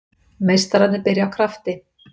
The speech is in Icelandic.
Meistararnir byrja af krafti